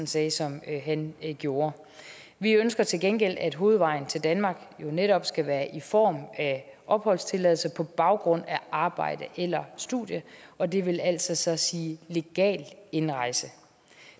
sagde som han gjorde vi ønsker til gengæld at hovedvejen til danmark netop skal være i form af opholdstilladelse på baggrund af arbejde eller studie og det vil altså så sige legal indrejse